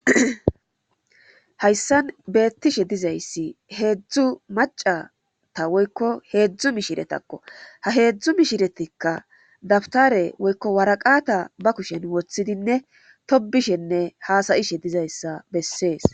hayssan beettishe dizayssi heedzdzu macata woykko heedzdzu mishiretakko ha heedzdzu mishiretikka dabtare woykko waraqata ba kushen woththidinne tobishenne haasayishe dizayssa bessees